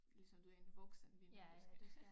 Ligesom du er en voksen ligner du skal